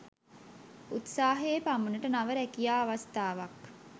උත්සාහයේ පමණට නව රැකියා අවස්ථාවක්